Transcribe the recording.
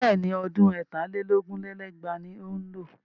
Bẹ́ẹ̀ni, ọdún ẹ̀tà lé lógún lé lẹ́gbàá ni ó ń lọ.